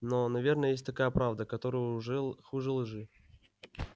но наверное есть такая правда которая уже хуже лжи